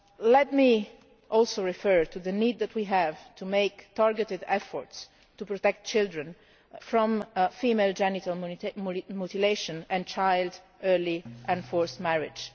Let me also refer to the need that we have to make targeted efforts to protect children from female genital mutilation and early and forced marriage.